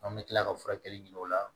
An bɛ tila ka furakɛli ɲini o la